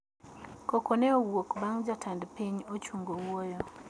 Koko ne owuok bang` jatend piny ochung wuoyo